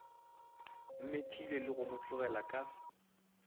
mmethile le go mo tlogelaka